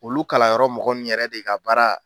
Olu kalanyɔrɔ mɔgɔ nunnu yɛrɛ de ka baara